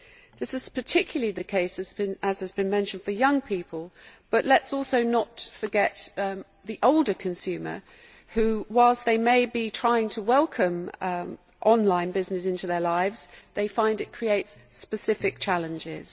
This is particularly the case, as has been mentioned, for young people, but let us not forget the older consumers who, whilst they may be trying to welcome online business into their lives, find it creates specific challenges.